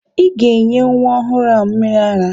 Ị ga-enye nwa ọhụrụ ahụ mmịrị ara!